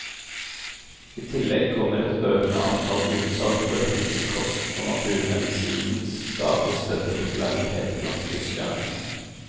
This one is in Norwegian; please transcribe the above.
I tillegg kommer et økende antall utsalg for helsekost og naturmedisinens stadig større popularitet blant tyskerne.